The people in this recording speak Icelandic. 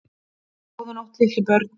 Góða nótt litlu börn.